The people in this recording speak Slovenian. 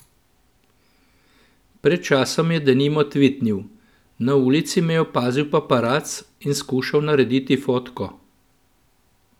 Pred časom je denimo tvitnil: "Na ulici me je opazil paparac in skušal narediti fotko.